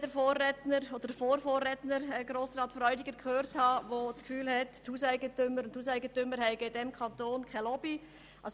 Er hat das Gefühl, Hauseigentümerinnen und Hauseigentümer hätten in unserem Kanton keine Lobby.